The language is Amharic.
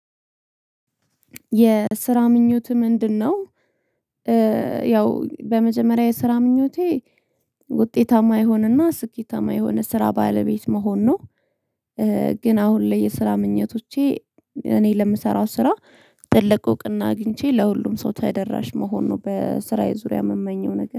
የስራ ምኞትህ ምንድንነው? ያው በመጀመሪያ የስራ ምኞቴ ውጤታማ የሆነና ስኬታማ የሆነ ስራ ባለቤት መሆን ነው። ግን አሁን ላይ የስራ ምኞቶቼ እኔ ለምሰራው ስራ ትልቅ እውቅና አግኝቼ ለሁሉም ሰው ተደራሽ መሆኑ በስራዬ ዙሪያ የምመኘው ነገር